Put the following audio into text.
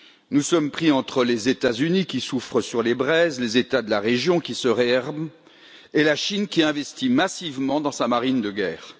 Nous sommes enserrés entre les États Unis, qui soufflent sur les braises, les États de la région, qui se réarment, et la Chine, qui investit massivement dans sa marine de guerre.